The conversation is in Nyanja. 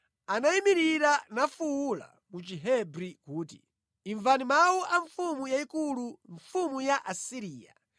Tsono Rabusake anayimirira nafuwula mu Chihebri kuti, “Imvani mawu a mfumu yayikulu, mfumu ya ku Asiriya!